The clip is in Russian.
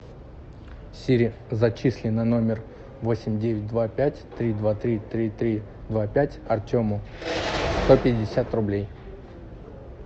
сири зачисли на номер восемь девять два пять три два три три три два пять артему сто пятьдесят рублей